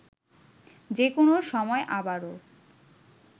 যে কোনো সময় আবারও